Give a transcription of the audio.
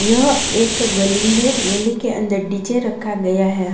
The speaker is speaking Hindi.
यह एक गली है गली के अंदर डीजे रखा गया है